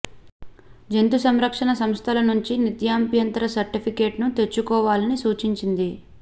జంతు సంరక్షణ సంస్థల నుంచి నిరభ్యంతర సర్టిఫికేట్ ను తెచ్చుకోవాలని సూచించింది